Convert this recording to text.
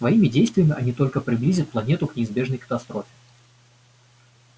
своими действиями они только приблизят планету к неизбежной катастрофе